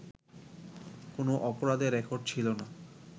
কোনো অপরাধের রেকর্ড ছিল না